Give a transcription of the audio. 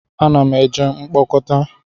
A na m eje mkpokota